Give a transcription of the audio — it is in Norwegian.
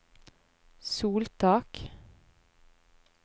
soltak